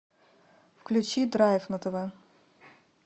включи драйв на тв